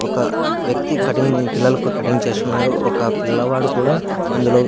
ఒక వ్యక్తి కటింగ్ పిల్లలకు కటింగ్ చేస్తున్నారు ఒక పిల్లవాడు కూడా అందులో --